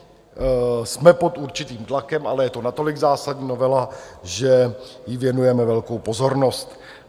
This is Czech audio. Jsme pod určitým tlakem, ale je to natolik zásadní novela, že jí věnujeme velkou pozornost.